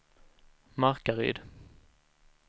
Markaryd